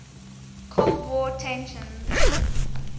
cold war tensions